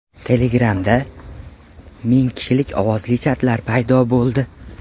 Telegram’da ming kishilik ovozli chatlar paydo bo‘ldi.